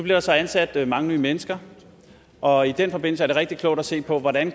der så ansat mange nye mennesker og i den forbindelse er det rigtig klogt at se på hvordan